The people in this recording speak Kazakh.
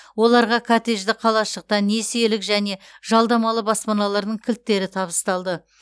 оларға коттеджді қалашықтан несиелік және жалдамалы баспаналардың кілттері табысталды